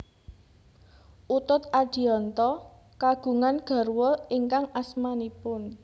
Utut Adianto kagungan garwa ingkang asmanipun